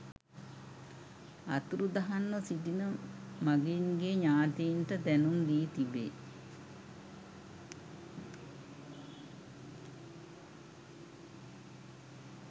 අතුරුදහන්ව සිටින මගීන්ගේ ඥාතීන්ට දැනුම් දී තිබේ